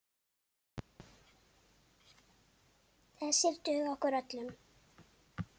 Þessir duga okkur öllum.